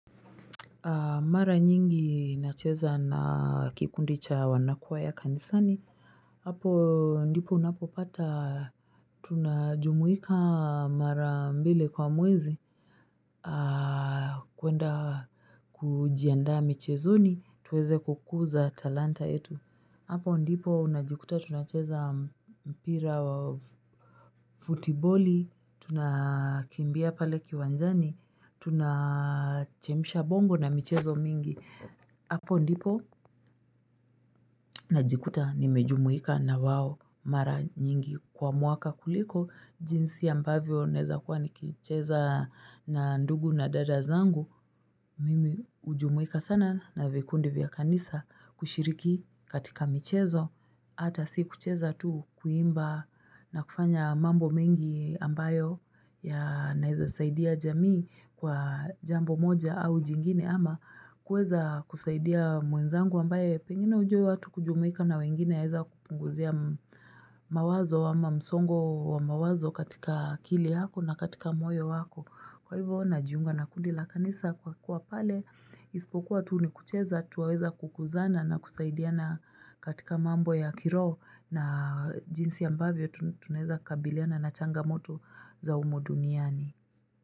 Mara nyingi nacheza na kikundi cha wanakwaya kanisani. Hapo ndipo unapopata. Tunajumuika mara mbili kwa mwezi. Kuenda kujiandaa michezoni. Tuweze kukuza talanta yetu. Hapo ndipo unajikuta tunacheza mpira wa futiboli. Tunakimbia pale kiwanjani. Tunachemsha bongo na michezo mingi. Apo ndipo najikuta nimejumuika na wao mara nyingi kwa mwaka kuliko jinsi ambavyo naeza kuwa nikicheza na ndugu na dada zangu. Mimi ujumuika sana na vikundi vya kanisa kushiriki katika michezo ata si kucheza tu kuimba na kufanya mambo mengi ambayo ya naeza saidia jamii kwa jambo moja au jingine ama. Kuweza kusaidia mwenzangu ambaye pengine ujua watu kujumika na wengine yaeza kupunguzia mawazo ama msongo wa mawazo katika kili yako na katika moyo wako. Kwa hivyo najiunga na kundi la kanisa kwa kuwa pale ispokuwa tu nikucheza tu waweza kukuzana na kusaidiana katika mambo ya kiroho na jinsi ambavyo tunaeza kabiliana na changamoto za umu duniani.